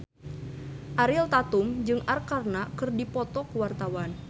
Ariel Tatum jeung Arkarna keur dipoto ku wartawan